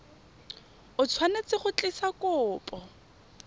o tshwanetse go tlisa kopo